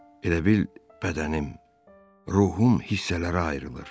Elə bil bədənim, ruhum hissələrə ayrılır.